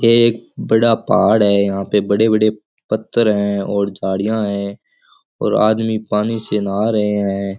ये एक बड़ा पहाड़ है यहां पे बड़े बड़े पत्थर हैं और झाड़ियां है और आदमी पानी से नहा रहे हैं।